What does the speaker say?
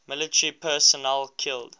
military personnel killed